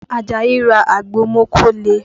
Àjàyí ra àgbo mókóle